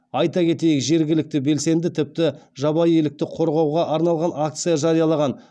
айта кетейік жергілікті белсенді тіпті жабайы елікті қорғауға арналған акция жариялаған